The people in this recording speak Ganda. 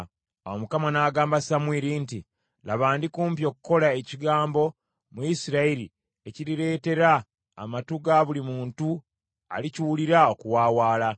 Awo Mukama n’agamba Samwiri nti, “Laba, ndikumpi okukola ekigambo mu Isirayiri ekirireetera amatu ga buli muntu alikiwulira okuwaawaala.